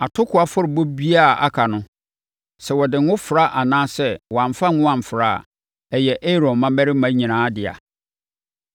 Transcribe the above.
Atokoɔ afɔrebɔ biara a aka no, sɛ wɔde ngo fra anaa wɔamfa ngo amfra a, ɛyɛ Aaron mmammarima nyinaa dea.